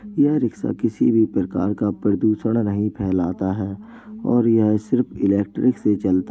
यह रिक्शा किसी भी प्रकार का प्रदूषण नहीं फैलाता है और यह सिर्फ इलेक्ट्रिक से चलता --